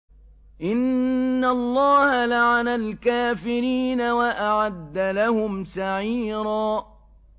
إِنَّ اللَّهَ لَعَنَ الْكَافِرِينَ وَأَعَدَّ لَهُمْ سَعِيرًا